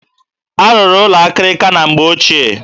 A rụrụ ụlọ akịrịka na mgbe ochie.